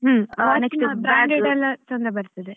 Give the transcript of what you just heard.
ಹ್ಮ್ next branded ಎಲ್ಲ ಚೆಂದ ಬರ್ತದೆ.